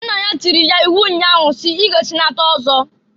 Nna ya tiiri ya iwu nnya ahụ si, "I ga echinata ọzọ!"